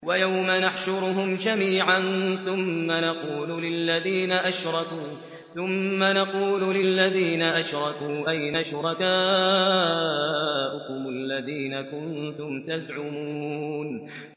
وَيَوْمَ نَحْشُرُهُمْ جَمِيعًا ثُمَّ نَقُولُ لِلَّذِينَ أَشْرَكُوا أَيْنَ شُرَكَاؤُكُمُ الَّذِينَ كُنتُمْ تَزْعُمُونَ